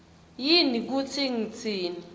yini kutsi ngitsini